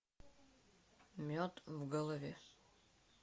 мед в голове